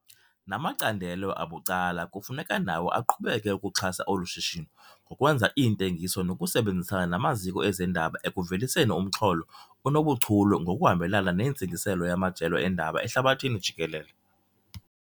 Namacandelo abucala kufuneka nawo aqhubeke ukuxhasa olu shishino ngokwenza iintengiso nokusebenzisana namaziko ezendaba ekuveliseni umxholo onobuchule ngokuhambelana nentsingiselo yamajelo eendaba ehlabathini jikelele.